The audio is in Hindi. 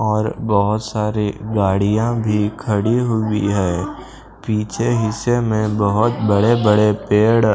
और बहुत सारी गाड़ियां भी खड़ी हुई है पीछे हिस्से में बहुत बड़े-बड़े पेड़--